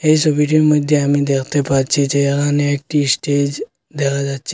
এই ছবিটির মইধ্যে আমি দেখতে পাচ্ছি যে এহানে একটি স্টেজ দেখা যাচ্ছে।